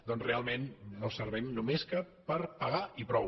doncs realment no servim només que per pagar i prou